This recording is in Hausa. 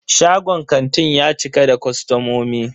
Shagon kantin ya cika da kostomomi.